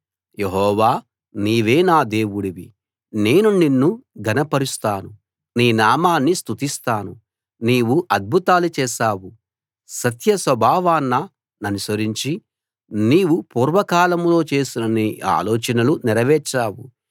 యెహోవా నీవే నా దేవుడివి నేను నిన్ను ఘన పరుస్తాను నీ నామాన్ని స్తుతిస్తాను నీవు అద్భుతాలు చేశావు సత్య స్వభావాన్ననుసరించి నీవు పూర్వకాలంలో చేసిన నీ ఆలోచనలు నెరవేర్చావు